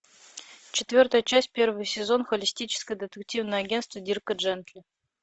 четвертая часть первый сезон холистическое детективное агентство дирка джентли